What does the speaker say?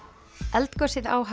eldgosið á